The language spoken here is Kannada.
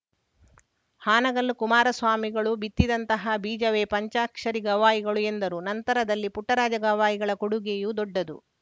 ಹಾನಗಲ್ಲು ಕುಮಾರ ಸ್ವಾಮಿಗಳು ಬಿತ್ತಿದಂತಹ ಬೀಜವೇ ಪಂಚಾಕ್ಷರಿ ಗವಾಯಿಗಳು ಎಂದರುನಂತರದಲ್ಲಿ ಪುಟ್ಟರಾಜ ಗವಾಯಿಗಳ ಕೊಡುಗೆಯೂ ದೊಡ್ಡದು